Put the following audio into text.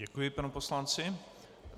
Děkuji panu poslanci.